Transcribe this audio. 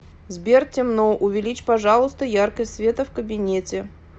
сбер темно увеличь пожалуйста яркость света в кабинете